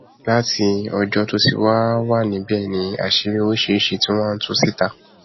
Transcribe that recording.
láti ọjọ tó ti wáá wà níbẹ ni àṣírí oríṣiríṣiì ti wá ń tú síta